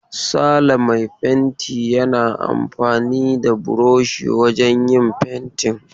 Sale mai fenti yana amfani da burushi wajen yin fentin.